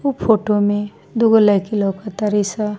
उ फोटो में दुगो लड़की लोग सा।